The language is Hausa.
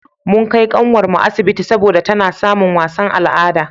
mun Kai kanwar mu asibiti saboda tana samin wasan al'ada